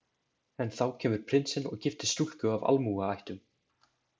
En þá kemur prinsinn og giftist stúlku af almúgaættum.